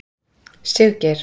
Siggeir